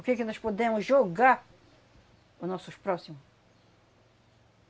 O que que nós podemos jogar para os nossos próximo?